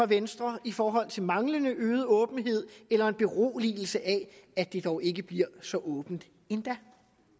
venstre i forhold til manglende øget åbenhed eller en beroligelse af at det dog ikke bliver så åbent endda